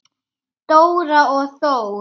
Dóra og Þór.